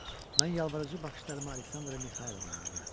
Mən yalvarıcı baxışlarımı Aleksandra Mixaylovnaya yönəltdim.